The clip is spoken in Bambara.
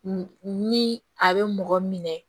ni a bɛ mɔgɔ minɛ